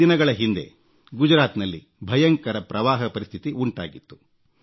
ಕೆಲ ದಿನಗಳ ಹಿಂದೆ ಗುಜರಾತ್ನಲ್ಲಿ ಭಯಂಕರ ಪ್ರವಾಹ ಪರಿಸ್ಥಿತಿ ಉಂಟಾಗಿತ್ತು